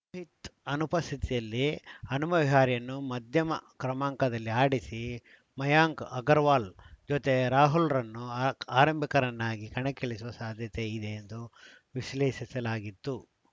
ರೋಹಿತ್‌ ಅನುಪಸ್ಥಿತಿಯಲ್ಲಿ ಹನುಮ ವಿಹಾರಿಯನ್ನು ಮಧ್ಯಮ ಕ್ರಮಾಂಕದಲ್ಲಿ ಆಡಿಸಿ ಮಯಾಂಕ್‌ ಅಗರ್‌ವಾಲ್‌ ಜತೆ ರಾಹುಲ್‌ರನ್ನು ಆರಂಭಿಕರನ್ನಾಗಿ ಕಣಕ್ಕಿಳಿಸುವ ಸಾಧ್ಯತೆ ಇದೆ ಎಂದು ವಿಶ್ಲೇಷಿಸಲಾಗಿತ್ತು